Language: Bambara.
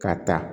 Ka ta